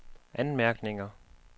anmærkninger